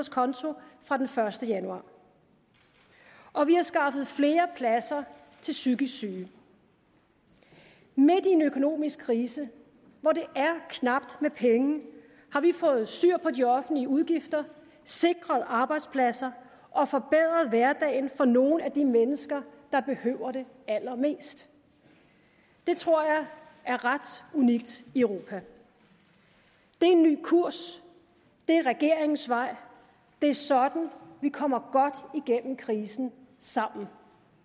fra den første januar og vi har skaffet flere pladser til psykisk syge midt i en økonomisk krise hvor det er knapt med penge har vi fået styr på de offentlige udgifter sikret arbejdspladser og forbedret hverdagen for nogle af de mennesker der behøver det allermest det tror jeg er ret unikt i europa det er en ny kurs det er regeringens vej det er sådan vi kommer godt gennem krisen sammen